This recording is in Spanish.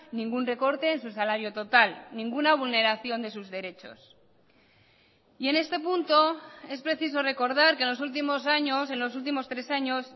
ningún recorte en su salario total ninguna vulneración de sus derechos y en este punto es preciso recordar que en los últimos años en los últimos tres años